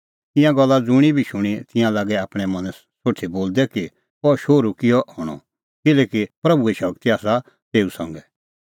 ईंयां गल्ला ज़ुंणी बी शूणीं तिंयां लागै आपणैं मनैं सोठी बोलदै कि अह शोहरू किहअ हणअ किल्हैकि प्रभूए शगती आसा तेऊ संघै